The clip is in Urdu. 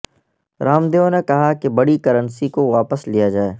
رام دیو نے کہا کہ بڑی کرنسی کو واپس لیا جائے